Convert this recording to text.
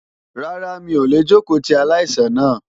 Rárá mi ò lè jókòó ti aláìsàn náà.